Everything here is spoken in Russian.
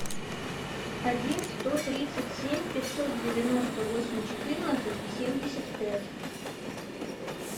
один сто тридцать семь пятьсот девяносто восемь четырнадцать семьдесят пять